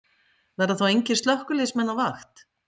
Verða þá engir slökkviliðsmenn á vakt?